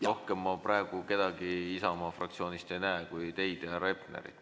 Rohkem ma praegu kedagi Isamaa fraktsioonist ei näe siin kui teid ja härra Hepnerit.